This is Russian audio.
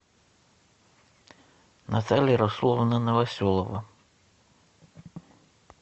наталья расуловна новоселова